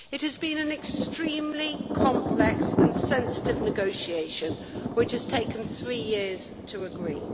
It has been an extremely complex and sensitive negotiation, which has taken three years to agree.